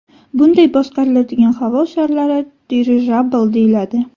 Bunday boshqariladigan havo sharlari dirijabl deyiladi.